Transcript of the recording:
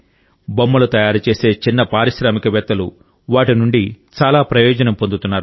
బొమ్మలు తయారు చేసే చిన్న పారిశ్రామికవేత్తలు వాటి నుండి చాలా ప్రయోజనం పొందుతున్నారు